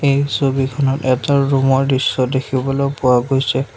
এই ছবিখনত এটা ৰুম ৰ দৃশ্য দেখিবলৈ পোৱা গৈছে।